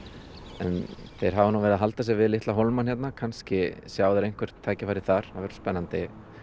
en þeir hafa verið að halda sig við litla hólmann hérna kannski sjá þeir einhver tækifæri þar það verður spennandi